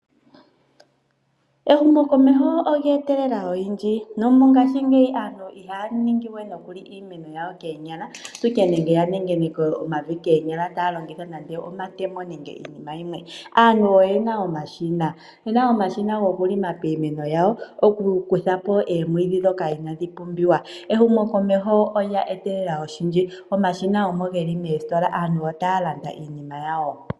Ehumokomeho olye etelela oyindji, nomongashingeyi aantu ihaya ningi we nokuli iimeno yawo keenyala, opwiike nenge yanengeneke omavi keenyala taalongitha nande omatemo nenge iinima yimwe. Aantu oye na omashina, ye na omashina gokulima iimeno yawo okukuthapo eemwidhi dhoka inadhi pumbiwa. Ehumokomeho olya etelela oshindji omashina omo geli meestola, aantu otaa landa iinima yawo.